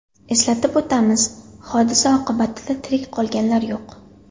Eslatib o‘tamiz, hodisa oqibatida tirik qolganlar yo‘q.